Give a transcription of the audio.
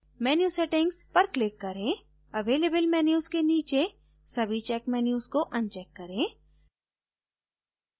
menu settings पर click करें available menus के नीचे सभी checked menu को अनचैक करें